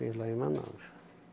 Fiz lá em Manaus.